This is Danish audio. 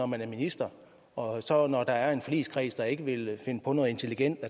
man er minister og når der er en forligskreds der ikke vil finde på noget intelligent